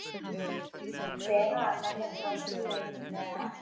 Strákarnir litu hver á annan og brostu laumulega.